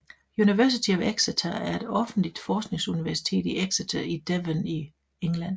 University of Exeter er et offentligt forskningsuniversitet i Exeter i Devon i England